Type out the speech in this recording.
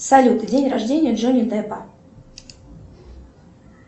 салют день рождения джонни деппа